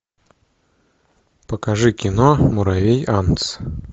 покажи кино муравей антц